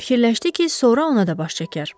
Fikirləşdi ki, sonra ona da baş çəkər.